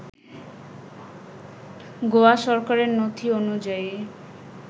গোয়া সরকারের নথি অনুযায়ী